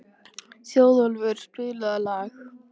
Þjóðólfur, spilaðu lag.